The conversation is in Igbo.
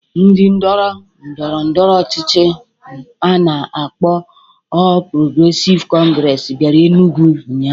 Ndi ndoro ndọrọndọrọ ọchịchị a na-akpọ Ọl Progresịv Kọngresi bịara Enugwu ụnyaahụ